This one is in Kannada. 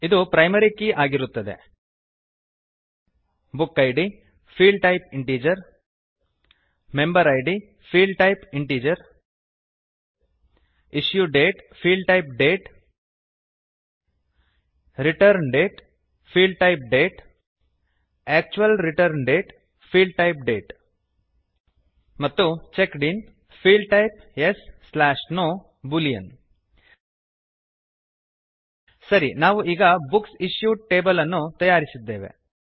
ಇದು ಪ್ರೈಮರಿ ಕೀ ಆಗಿರುತ್ತದೆ book id field type integer member id Field type integer issue date field type date return date field type date actual return date field type date ಮತ್ತು checked in field type yes no boolean ಸರಿ ನಾವು ಈಗ ಬುಕ್ಸ್ ಇಶ್ಯೂಡ್ ಟೇಬಲ್ ಅನ್ನು ತಯಾರಿಸಿದ್ದೇವೆ